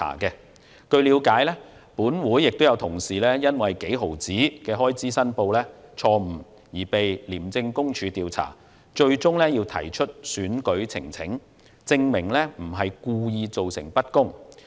據了解，本會有同事因為就微不足道的開支申報錯誤而被廉政公署調查，最終要提出選舉呈請，證明不是故意造成不公。